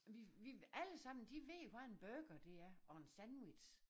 Vi vi vil alle sammen de ved jo hvad en bruger det er og en sandwich